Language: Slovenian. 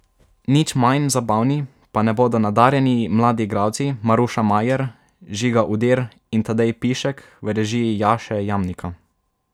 Nič manj zabavni pa ne bodo nadarjeni mladi igralci Maruša Majer, Žiga Udir in Tadej Pišek v režiji Jaše Jamnika.